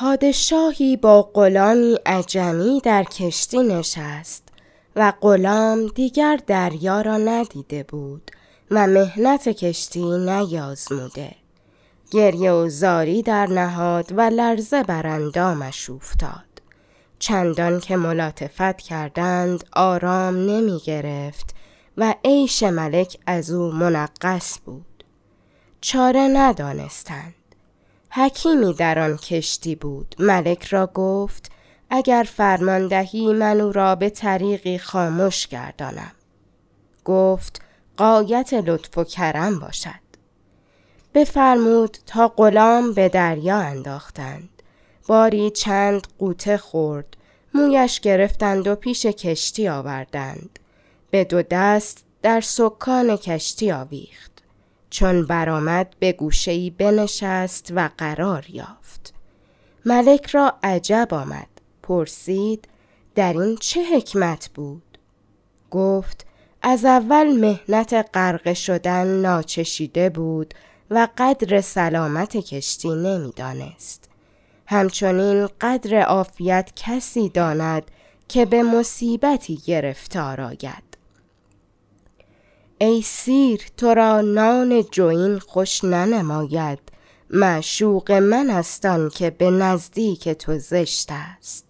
پادشاهی با غلامی عجمی در کشتی نشست و غلام دیگر دریا را ندیده بود و محنت کشتی نیازموده گریه و زاری درنهاد و لرزه بر اندامش اوفتاد چندان که ملاطفت کردند آرام نمی گرفت و عیش ملک از او منغص بود چاره ندانستند حکیمی در آن کشتی بود ملک را گفت اگر فرمان دهی من او را به طریقی خامش گردانم گفت غایت لطف و کرم باشد بفرمود تا غلام به دریا انداختند باری چند غوطه خورد مویش گرفتند و پیش کشتی آوردند به دو دست در سکان کشتی آویخت چون برآمد به گوشه ای بنشست و قرار یافت ملک را عجب آمد پرسید در این چه حکمت بود گفت از اول محنت غرقه شدن ناچشیده بود و قدر سلامت کشتی نمی دانست همچنین قدر عافیت کسی داند که به مصیبتی گرفتار آید ای سیر تو را نان جوین خوش ننماید معشوق من است آن که به نزدیک تو زشت است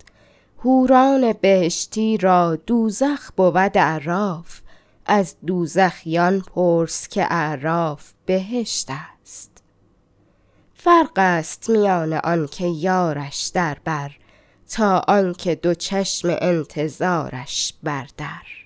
حوران بهشتی را دوزخ بود اعراف از دوزخیان پرس که اعراف بهشت است فرق است میان آن که یارش در بر تا آن که دو چشم انتظارش بر در